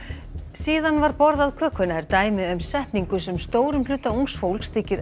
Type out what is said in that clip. síðan var borðað kökuna er dæmi um setningu sem stórum hluta ungs fólks þykir